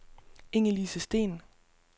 Ingelise Steen